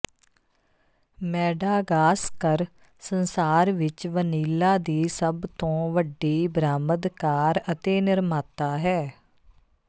Madagascar ਸੰਸਾਰ ਵਿੱਚ vanilla ਦੀ ਸਭ ਤੋਂ ਵੱਡੀ ਬਰਾਮਦਕਾਰ ਅਤੇ ਨਿਰਮਾਤਾ ਹੈ